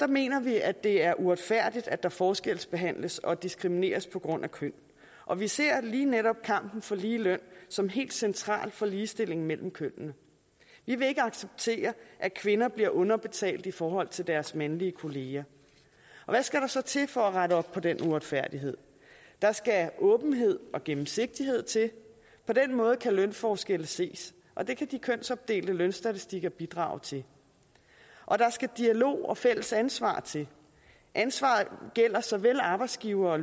mener vi at det er uretfærdigt at der forskelsbehandles og diskrimineres på grund af køn og vi ser lige netop kampen for ligeløn som helt central for ligestillingen mellem kønnene vi vil ikke acceptere at kvinder bliver underbetalt i forhold til deres mandlige kollegaer hvad skal der så til for at rette op på den uretfærdighed der skal åbenhed og gennemsigtighed til på den måde kan lønforskelle ses og det kan de kønsopdelte lønstatistikker bidrage til og der skal dialog og fælles ansvar til ansvaret gælder såvel arbejdsgivere